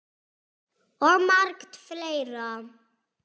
Og margt fleira.